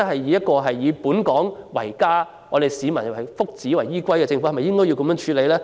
若真的是以本港為家，以市民福祉為依歸的政府，是否應該這樣處理？